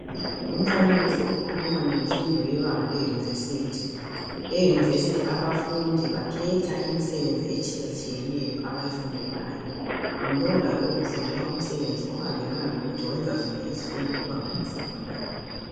Lumfanekiso ukhuluma ngemfundo yebanga leyunivesithi, eyunivesithi abafundi bakhetha imisebenzi etshiyatshiyeneyo abayifundelayo, ngulolalo ufundela umsebenzi ohambelana lokuthi wenza ziphi izifundo kubanga le secondary.